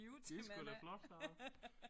Det sgu da flot klaret